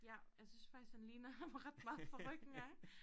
Ja jeg synes faktisk han ligner ham ret meget fra ryggen af